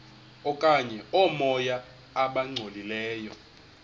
okanye oomoya abangcolileyo